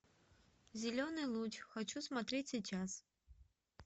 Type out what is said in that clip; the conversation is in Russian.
зеленый луч хочу смотреть сейчас